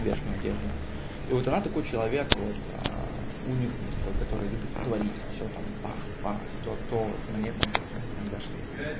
верхнюю одежду и вот она такой человек вот уникум такой который любит творить всё там пах пах то то вот мне там костюмы иногда шьёт